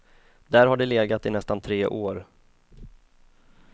Där har det legat i nästan tre år.